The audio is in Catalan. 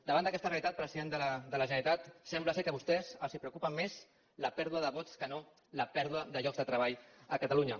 davant d’aquesta realitat president de la generalitat sembla que a vostès els preocupa més la pèrdua de vots que no la pèrdua de llocs de treball a catalunya